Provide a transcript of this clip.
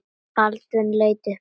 Baldvin leit upp hissa.